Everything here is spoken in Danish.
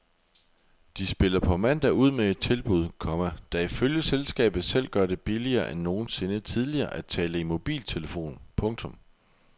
De spiller på mandag ud med et tilbud, komma der ifølge selskabet selv gør det billigere end nogensinde tidligere at tale i mobiltelefon. punktum